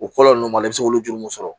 O kɔlɔlɔ ninnu ma i bɛ se k'olu juru mun sɔrɔ